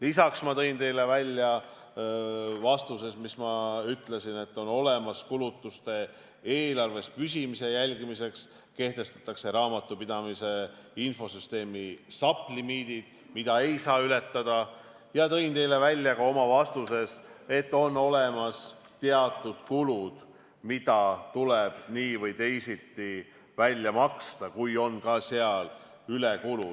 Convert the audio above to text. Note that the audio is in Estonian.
Lisaks tõin teile vastuses välja, et kulutuste eelarve püsimise jälgimiseks kehtestatakse raamatupidamise infosüsteemis SAP limiidid, mida ei saa ületada, ja tõin välja ka oma vastuses, et on olemas teatud kulud, mis tuleb nii või teisiti välja maksta, kui seal on ka ülekulu.